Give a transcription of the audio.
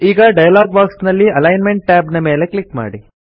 ಈಗ dialog box ನಲ್ಲಿ alignment tab ಮೇಲೆ ಕ್ಲಿಕ್ ಮಾಡಿ